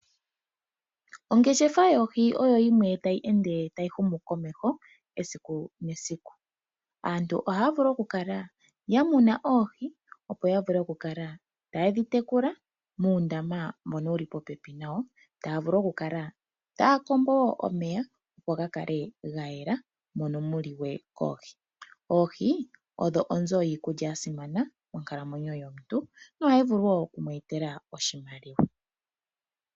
Ongeshefa yoohi oyo yimwe tayi humu komeho, esiku nesiku. Aantu ohaya vulu okukala ya muna oohi, opo ya vule okukala taye dhi tekula muundama mbono wu li popepi nayo, taa vulu okukala taya kombo omeya mono mu na oohi, opo ga vule okukala ga yela. Oohi odho onzo yiikulya ya simana monkalamwenyo yomuntu nohayi vulu wo oku mu etela oshimaliwa.